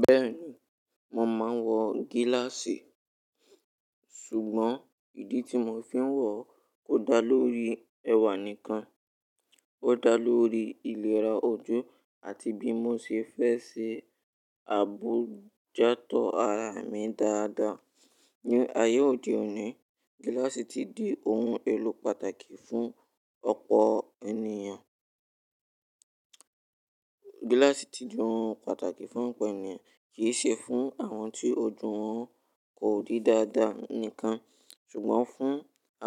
Bẹ́ẹ̀ni, mò máà ń wọ gíláàsì, ṣùgbọ́n ìdí tí mò fi ń wọ kò dá lórí ẹ̀wà nìkan, ó dá lórí ìlera ojú àti bí mò ṣe fẹ́ ṣe àbójútó ara mi dáadáa. Ní ayé òde òní, gíláàsì ti di ohun èlò pàtàkì fún ọ̀pọ̀ ènìyàn. Gíláàsì ti di ohun pàtàkì fún ọ̀pọ̀ ènìyàn, kì í ṣe fún àwọn tí ojú wọn kò rí dáadáa nìkan, ṣùgbọ́n fún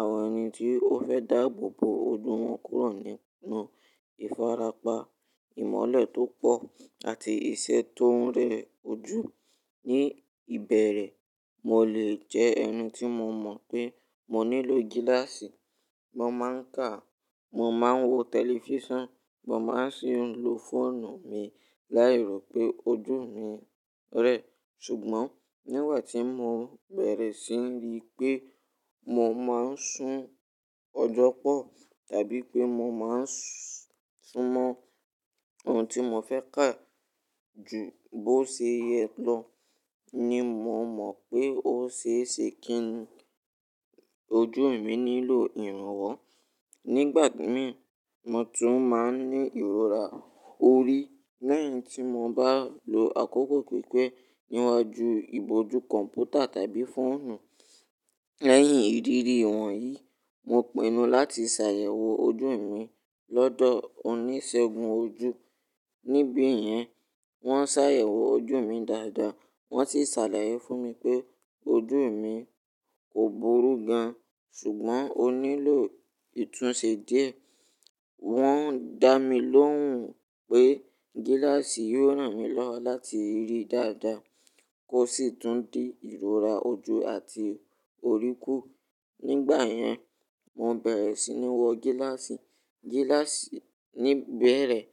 àwọn ẹni tí ó fẹ́ dá àabo bo ojú wọn kúrò nínú ìfarapa, ìmọ́lẹ̀ tó pọ̀ àti iṣẹ́ tó ń rẹ ojú. Ní ìbẹ̀rẹ̀, mò lè jẹ́ ẹni tí mò mọ̀ pé mò nílò gíláàsì, mò máà ń kà, mò máà ń wo tẹlifísàn, mò máà ń sì ń lo fóònù mi láì rò pé ojú mi rẹ, ṣùgbọ́n nígbà tí mò bẹ̀rẹ̀ sí ní rí pé mò máà ń sún ọjọ́ pọ̀ tàbí pé mò máà ń súnmọ́ ohun tí mò fẹ́ kà ju bó ṣe yẹ lọ ni mò mọ̀ pé ó ṣe é ṣe kí ojú mi nílò ìrànwọ́. Nígbà míì, mò tún máà ń ní ìrora orí. Lẹ́yìn tí mò bá lo àkókò pípẹ́ níwájú ìbòjú kọ̀m̀pútà tàbí fóònù. Lẹ́yìn ìdírí ìwọ̀nyí, mò pinu láti ṣàyẹ̀wò ojú mi lọ́dọ̀ oníṣègùn ojú. Níbi yẹn, wọ́n ṣàyẹ̀wò ojú mi dáadáa, wọ́n sì ṣàlàyé fún mi pé ojú mi kò burú gan, ṣùgbọ́n ó nílò ìtúnṣe díẹ̀. Wọ́n dá mi lóhùn pé gíláàsì yóò ràn mí lọ́wọ́ láti rí dáadáa kó sì tún dí ìrora ojú àti orí kù. Nígbà yẹn, mò bẹ̀rẹ̀ sí ní wọ gíláàsì. Gíláàsì ní ìbẹ̀rẹ̀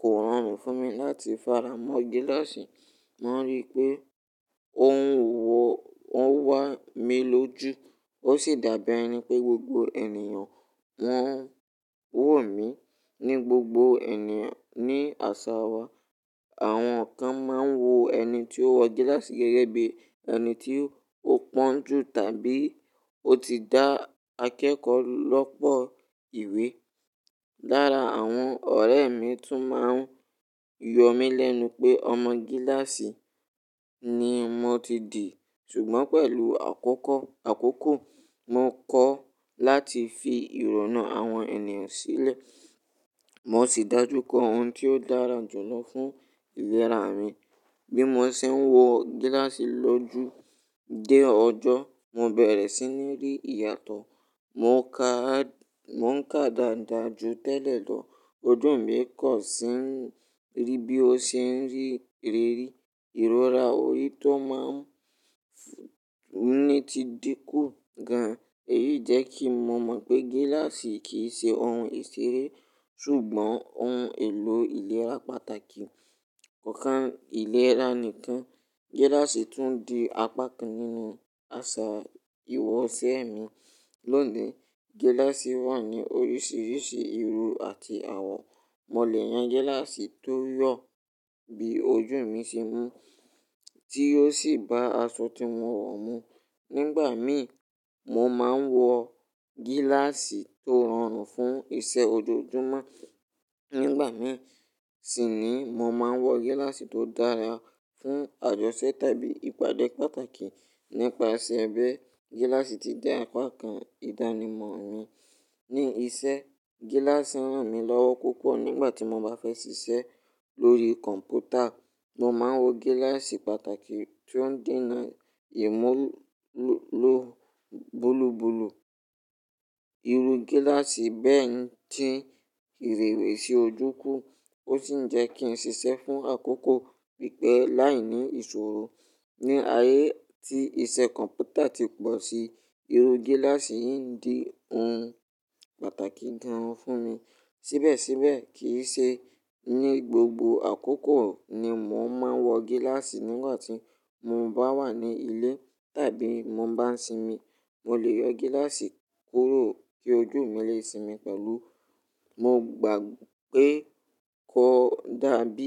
kò rọrùn fún mi láti fara mọ́ gíláàsì, mò ń rí pé ohun wọ̀ wọ́n wà mí lójú. Ó sì dàbí ẹni pé gbogbo ènìyàn wọ́n wò mí. Ní gbogbo ènìyàn, ní àṣà wa, àwọn kan máà ń wo ẹni tí ó wọ gíláàsì gẹ́gẹ́ bí ẹni tí ó pọ́n jù tàbí ó ti dá akẹ́kọ̀ọ́ lọ́pọ̀ ìwé. Lára àwọn ọ̀rẹ́ mi tún máa ń yọ mí lẹ́nu pé ọmọ gíláàsì ni mò ti di. Ṣùgbọ́n pẹ̀lú àkókò, mò kọ́ láti fi ìrònú àwọn ènìyàn sílẹ̀, mò sì dájú kọ ohun tí ó dára jùlọ fún ìlera mi. Bí mò ṣe ń wọ gíláàsì lójú dé ọjọ́, mò bẹ̀rẹ̀ sí ní rí ìyàtọ̀, mò ń ka dàda ju tẹ́lẹ̀ lọ, ojú mi kò ṣe ń rí bí ó ṣe ń rí ìrérí, ìrora orí tó máa ń ní ti dín kù gan. Èyí jẹ́ kí mò mọ̀ pé gíláàsì kì í ṣe ohun ìṣeré ṣùgbọ́n ohun èlò ìlera pàtàkì. Kọ̀ kan ìlera nìkan, gíláàsì tún di apá kan nínú àṣà iwọ̀ṣẹ̀ mi. Lónìí, gíláàsì wà ní oríṣiríṣi ìru àti àwọ̀. Mò lè yan gíláàsì tó yọ̀ bí ojú mi ṣe mú tí ó sì bá aṣọ tí mò ń wọ̀ mú. Nígbà míì, mò máà ń wọ gíláàsì tó rọrùn fún iṣẹ́ ojoojúmọ́. Nígbà míì sì ni mò máà ń wọ gíláàsì tó dára fún àjọṣẹ́ tàbí ìpàdé pàtàkì. Nípasẹ̀ bẹ́ẹ̀, gíláàsì ti di apá kan ìdánimọ̀ mi. Ní iṣẹ́, gíláàsì ń ràn mí lọ́wọ́ púpọ̀ nígbà tí mò bá fẹ́ ṣiṣẹ́ lórí kọ̀m̀pútà, mò máà ń wọ gíláàsì pàtàkì tí ó ń dènà ìmúlò bulubulu. Iru gíláàsì bẹ́ẹ̀ diń ìrèwẹ̀sì ojú kù, ó sì ń jẹ́ kí n ṣiṣẹ́ fún àkókò pípẹ́ láìní ìṣòro. Ní ayé tí iṣẹ́ kọ̀m̀pútà ti pọ̀ sí, iru gíláàsì yìí ń di ohun pàtàkì gan fún mi. Síbẹ̀síbẹ̀ kì í ṣe ní gbogbo àkókò ni mò máà ń wọ gíláàsì. Nígbà tí mò ń bá wà ní ilé tàbí mò ń bá sinmi, mò lè yọ gíláàsì kúrò kí ojú mi lè sinmi pẹ̀lú. Mò gbà pé kò dàbí.